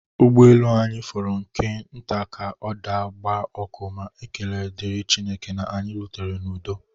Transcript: Ụgbọelu anyị fọrọ nke nta ka ọ daa gbaa ọkụ ma na ekele dịrị Chineke na anyị rutere n'udo